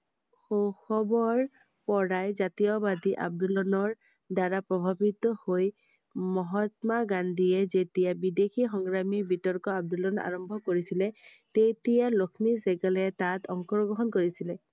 শৈশৱৰ পৰাই জাতীয়বাদী আন্দোলনৰ দ্ৱাৰা প্ৰভাৱিত হৈ মহাত্মা গান্ধীয়ে যেতিয়া বিদেশী সংগ্ৰামী বিতৰ্ক আন্দোলন আৰম্ভ কৰিছিলে তেতিয়া লক্ষ্মী চেহ্গালে তাত অংশগ্ৰহণ কৰিছিলেI